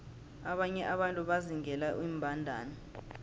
abanye abantu bazingela iimbandana